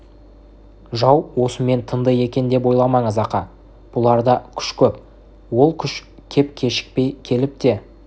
жау осымен тынды екен деп ойламаңыз ақа бұларда күш көп ол күш кеп кешікпей келіп те